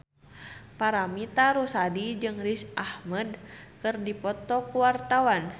Paramitha Rusady jeung Riz Ahmed keur dipoto ku wartawan